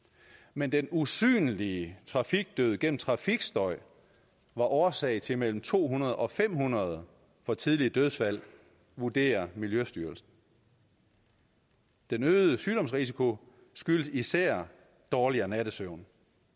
men den usynlige trafikdød gennem trafikstøj var årsag til mellem to hundrede og fem hundrede for tidlige dødsfald vurderer miljøstyrelsen den øgede sygdomsrisiko skyldes især dårligere nattesøvn